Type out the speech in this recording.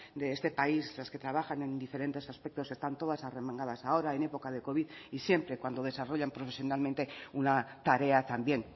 de este país las que trabajan en diferentes aspectos están todas arremangadas ahora en época de covid y siempre cuando desarrollan profesionalmente una tarea también